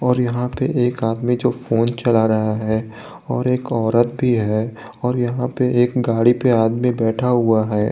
और यहां पे एक आदमी जो फोन चला रहा है और एक औरत भी है और यहां पे एक गाड़ी पे आदमी बैठा हुआ है।